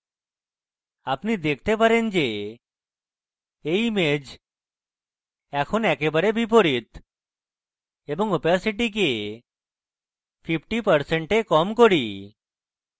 আপনি দেখতে পারেন যে you image এখন একেবারে বিপরীত এবং ওপেসিটিকে 50% এ কম করি